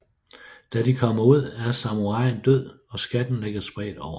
Da de kommer ud er samuraien død og skatten ligger spredt over ham